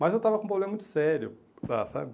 Mas eu estava com um problema muito sério, sabe?